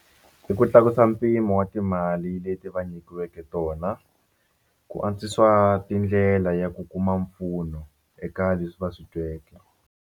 I ku tlakusa mpimo wa timali leti va nyikiweke tona ku antswisiwa tindlela ya ku kuma mpfuno eka leswi va swi tweke.